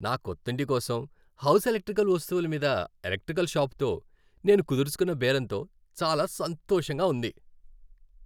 నా కొత్తింటి కోసం హౌస్ ఎలక్ట్రికల్ వస్తువుల మీద ఎలక్ట్రికల్ షాపుతో నేను కుదుర్చుకున్న బేరంతో చాలా సంతోషంగా ఉంది.